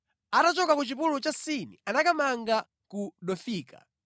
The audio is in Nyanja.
Atachoka ku chipululu cha Sini anakamanga ku Dofika.